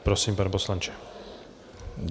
Prosím, pane poslanče.